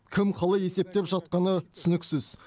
кім қалай есептеп жатқаны түсініксіз